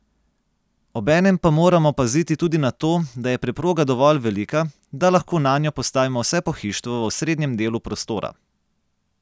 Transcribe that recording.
Obenem pa moramo paziti tudi na to, da je preproga dovolj velika, da lahko nanjo postavimo vse pohištvo v osrednjem delu prostora.